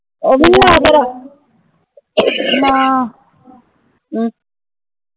ਉਹ ਭੀ ਨਹੀਂ ਹੋਯਾ ਤੇਰਾ